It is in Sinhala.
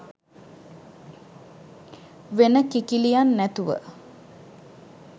වෙන කිකිළියන් නැතුව